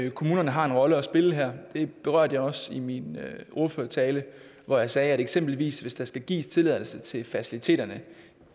at kommunerne har en rolle at spille her det berørte jeg også i min ordførertale hvor jeg sagde at kommunerne eksempelvis hvis der skal gives tilladelse til faciliteterne